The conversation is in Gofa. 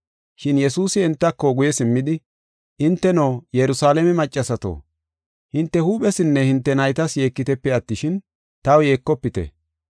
Shin Yesuusi entako guye simmidi, “Hinteno, Yerusalaame maccasato, hinte huuphesinne hinte naytas yeekitepe attishin, taw yeekofite.